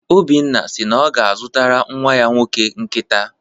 Obinna si na ọ ga-azụtara nnwa ya nwoke nkịta.